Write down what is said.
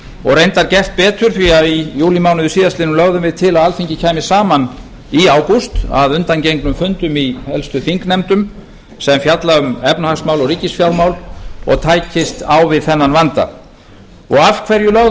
og reyndar gert betur því að í júlímánuði síðastliðnum lögðum við til að alþingi kæmi saman í ágúst að undangengnum fundum í helstu þingnefndum sem fjalla um efnahagsmál og ríkisfjármál og tækjust á við þennan vanda af hverju lögðum